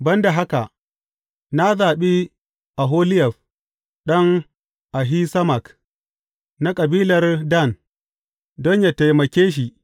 Ban da haka, na zaɓi Oholiyab ɗan Ahisamak, na kabilar Dan, don yă taimake shi.